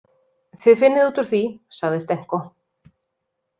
Þið finnið út úr því, sagði Stenko.